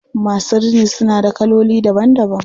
Masu rini suna da kaloli daban daban.